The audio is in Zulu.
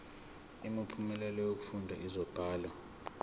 imiphumela yokufunda izibalo